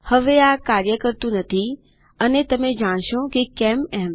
હવે આ કાર્ય કરતુ નથી અને તમે જાણશો કે કેમ એમ